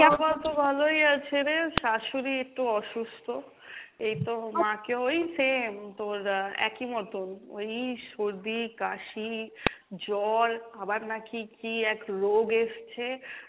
মা বাবা তো ভালোই আছে রে, শাশুড়ী একটু অসুস্থ এইতো মাকে ওই same তোর আহ একই মতন ওই সর্দি কাশি জ্বর আবার নাকি কী এক রোগ এসছে,